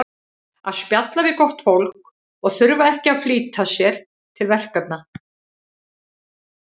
að spjalla við gott fólk og þurfa ekki að flýta sér til verkefna